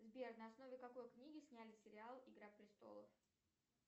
сбер на основе какой книги сняли сериал игра престолов